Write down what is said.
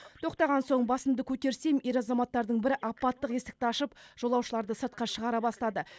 тоқтаған соң басымды көтерсем ер азаматтардың бірі апаттық есікті ашып жолаушыларды сыртқа шығара бастады